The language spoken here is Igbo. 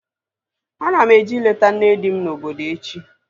Ana m eje ileta nne di m na obodo echi